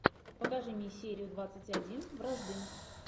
покажи мне серию двадцать один вражды